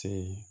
Ten